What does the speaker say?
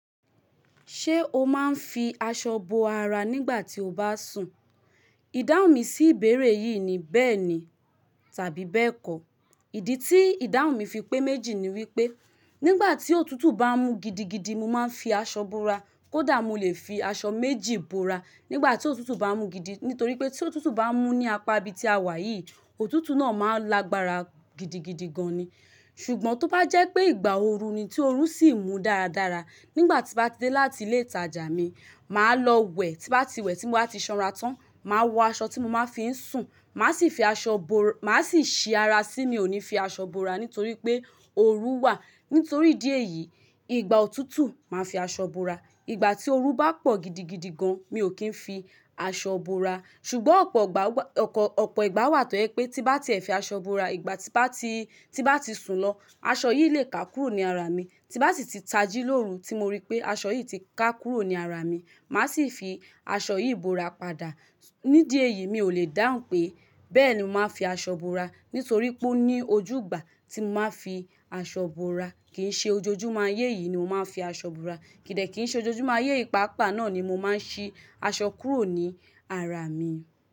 Ṣé o máa ń fi aṣọ bo ara nígbà tí o bá sùn? Ìdáhùn mi sí ìbéèrè yìí ni bẹ́ẹ̀ni tàbí bẹ́ẹ̀kọ́. Ìdí tí ìdáhùn mi fi pé méjì ni wípé nígbà tí òtútù bá ń mú gidigidi mo máa ń fi aṣọ bo'ra. Kódà mo lè fi aṣọ méjì bo ara nígbà tí òtútù bá ń mú gidi, nítorí pé tí òtútù bá ń mú ní apá ibi tí a wà yìí, òtútù náà máa ń lágbára gidigidi gan ni. Ṣùgbọ́n tó bá jẹ́ pé ìgbà ooru ni tí oru sì ń mú dáradára, nígbà tí bá dé láti ilé ìtajà mi, màá lọ wẹ̀ tí bá ti wẹ̀ tí mo bá ti sanra tán, màá wọ aṣọ tí mo máa ń fi ń sùn. Màá sì fi aṣọ bo màá sì ṣi ara sí mi, ò ní fi aṣọ bo ara nítorí pé ooru wà. Nítorí idi eyìí, ìgbà òtútù máa ń fi aṣọ bo ara. Ìgbà tí ooru bá pọ̀ gidigidi gan, mi ò kí ń fi aṣọ bo ara. Ṣùgbọ́n ọ̀pọ̀ ìgbà wà tó yẹ pé tí bá ti ẹ̀ fi aṣọ bo ara, ìgbà tí bá ti, tí bá ti sùn lọ, aṣọ yìí lè ká kúrò ní ara mi. Tí bá sì ti tají lórun tí mo rí pé aṣọ yìí ti ká kúrò ní ara mi, màá sì fi aṣọ yìí bo ara padà. Nídíẹ̀ yìí mi ò lè dáhùn pé, bẹ́ẹ̀ni mo máa ń fi aṣọ bo ara, nítorí pé ó ní ojú ìgbà tí mo máa ń fi aṣọ bo ara kì í ṣe ojoojúmọ́. Ayé yìí ni mo máa ń fi aṣọ bo ara. Kìdà kí í ṣe ojoojúmọ́. Ayé yii paápa náà ni mo máa ń ṣi aṣọ kúrò ní ara mi.